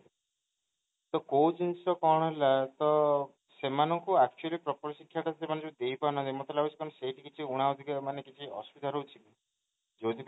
ତ କୋଉ ଜିନିଷ କଣ ହେଲା ତ ସେମାନେ ଯୋଉ actually proper ଶିକ୍ଷା ଟା ଦେଇ ପାରୁନାହାନ୍ତି ମତ ଲାଗୁଛି ମାନେ ସେଇଠି କିଛି ମାନେ କିଛି ଅସୁବିଧା ରହୁଛି କି ଯୋଉଠି ପାଇଁ